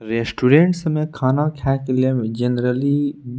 restaurants में खाना खाय के लिए जेनरली --